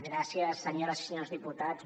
gràcies senyores i senyors diputats